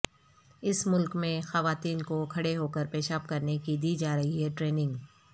اس ملک میں خواتین کو کھڑے ہوکر پیشاب کرنے کی دی جا رہی ٹریننگ